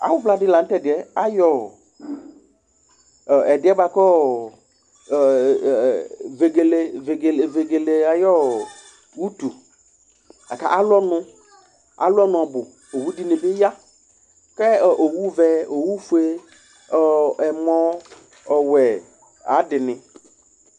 Awuvla ɖi la tɛ ɖiɛ Aɣɔ vɛgele aɣu ʋtu akʋ alu ɔnu ɔbu Owu ɖìŋí bi ɣa Owu vɛ, owu fʋe, ɛmɔ ɔwɛ ŋu aɣu aɖiŋi